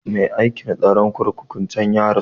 Mai aikin tsaron kurkukun can ya rasu